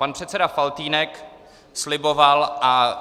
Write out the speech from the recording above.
Pan předseda Faltýnek sliboval a